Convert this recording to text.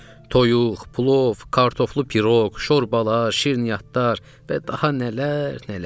Toyuq, plov, kartoflu piroq, şorbalar, şirniyyatlar və daha nələr, nələr!